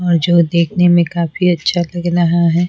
और जो देखने में काफी अच्छा लग रहा है।